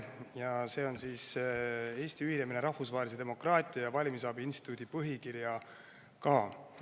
Eesti ühinemise Rahvusvahelise Demokraatia ja Valimisabi Instituudi põhikirjaga.